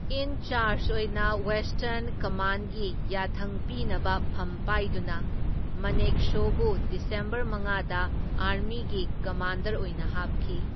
ꯏꯟ charge ꯑꯣꯏꯅ western ꯀꯝꯃꯥꯟꯒꯤ ꯌꯥꯊꯪ ꯄꯤꯅꯕ ꯐꯝ ꯄꯥꯏꯗꯨꯅ ꯃꯅꯦꯛꯁꯣꯕꯨ ꯗꯤꯁꯦꯝꯕꯔ ꯃꯉꯥꯗ ꯑꯥꯔꯃꯤꯒꯤ ꯀꯃꯥꯟꯗꯔ ꯑꯣꯏꯅ ꯍꯥꯞꯈꯤ꯫